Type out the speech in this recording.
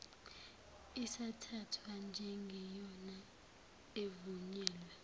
isathathwa njengeyona evunyelwe